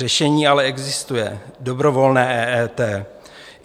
Řešení ale existuje - dobrovolné EET.